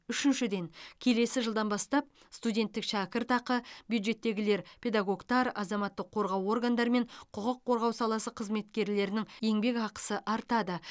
үшіншіден келесі жылдан бастап студенттік шәкіртақы бюджеттегілер педагогтар азаматтық қорғау органдары мен құқық қорғау саласы қызметкерлерінің еңбекақысы артады